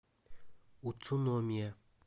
уцуномия